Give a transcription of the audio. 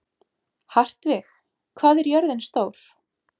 Hartvig, hvað er jörðin stór?